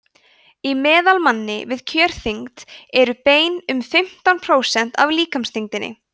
í meðalmanni við kjörþyngd eru bein um fimmtán prósent af líkamsþyngdinni